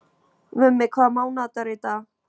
Mummi, hvaða mánaðardagur er í dag?